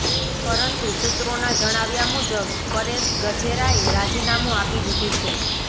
પરંતુ સુત્રોના જણાવ્યા મુજબ પરેશ ગજેરાએ રાજીનામું આપી દીધુ છે